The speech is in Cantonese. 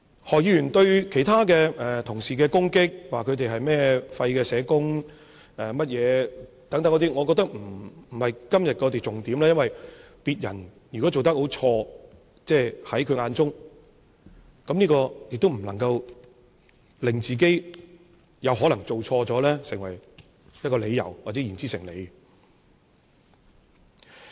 何議員對其他同事的攻擊，說他們是廢的社工等，我覺得不是今天的重點，因為如果別人在他眼中做得很錯，也不能成為他可能做錯事的理由，或令他的說法言之成理。